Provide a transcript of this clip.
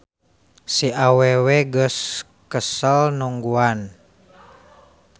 Si awewe geus kesel nungguan.